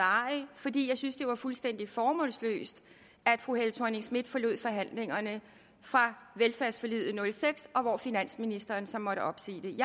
arrig fordi jeg synes at var fuldstændig formålsløst at fru helle thorning schmidt forlod forhandlingerne for velfærdsforliget og seks og hvor finansministeren så måtte opsige det